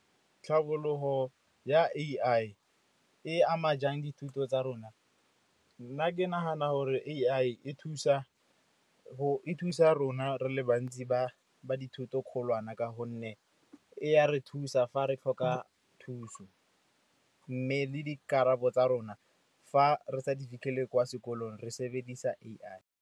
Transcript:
Tlhabologo ya A_I e ama jang dithuto tsa rona? Nna ke nagana gore A_I e thusa rona re le bantsi ba dithoto kgolwane ka gonne e ya re thusa fa re tlhoka thuso, mme le dikarabo tsa rona fa re sa di fitlhele kwa sekolong re sebedisa A_I.